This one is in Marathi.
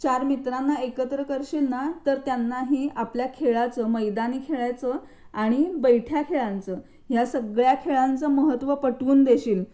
चार मित्रांना एकत्र करशील ना तर त्यांनाही आपल्या खेळाचं मैदानी खेळाचे आणि बैठ्या खेळाच या सगळ्या खेळाचं महत्व पटवून देशील